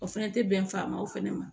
O fɛnɛ tɛ bɛn faamaw fana ma